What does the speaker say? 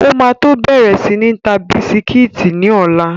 O ma tó bẹ̀rẹ̀ sí ń ta bisikítì ní ọ̀la.